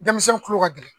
Denmisɛnnin kulo ka gɛlɛn